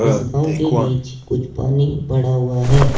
इस गांव के बीच कुछ पानी पड़ा हुआ है।